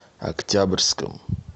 октябрьском